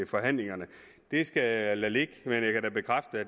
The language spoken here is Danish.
forhandlingerne det skal jeg lade ligge men